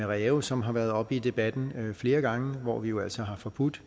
ræve som har været oppe i debatten flere gange og hvor vi jo altså har forbudt